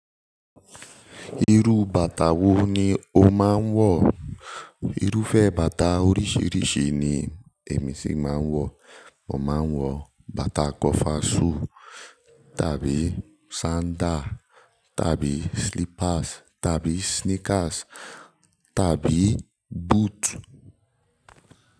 Irú bàtà wo ni o máa ń wọ̀? Irúfẹ́ bàtà oríṣìíríṣìí ni èmi ṣì máa ń wọ̀. Mo máa ń wọ bàtà kọfasù tàbí sandá tàbí slippers tàbí sneakers tàbí boot.